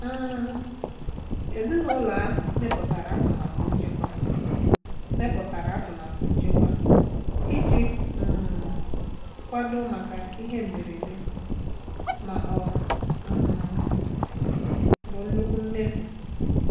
um Ezinụlọ ahụ mepụtara atụmatụ nchekwa mepụtara atụmatụ nchekwa iji um kwadoo maka ihe mberede ma ọ um bụ nnukwu mmefu.